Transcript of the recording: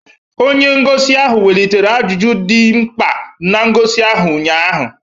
Onye ngosi ahụ welitere ajụjụ ndị dị mkpa na ngosi ahụ ụnyaahụ